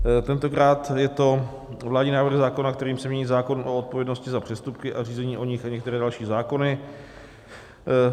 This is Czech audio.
Tentokrát je to vládní návrh zákona, kterým se mění zákon o odpovědnosti za přestupky a řízení o nich a některé další zákony.